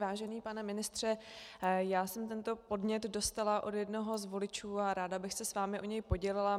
Vážený pane ministře, já jsem tento podnět dostala od jednoho z voličů a ráda bych se s vámi o něj podělila.